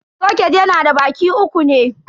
Soket yana da baki uku ne.